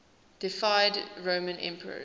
deified roman emperors